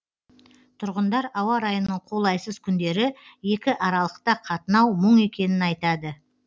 тұрғындар ауа райының қолайсыз күндері екі аралықта қатынау мұң екенін айтады